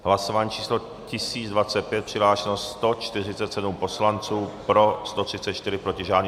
Hlasování číslo 1025, přihlášeno 147 poslanců, pro 134, proti žádný.